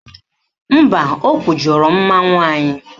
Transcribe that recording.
Mba, o kwujọrọ mmanwụ anyị